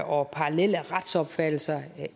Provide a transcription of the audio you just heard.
og parallelle retsopfattelser